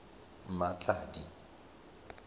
mmatladi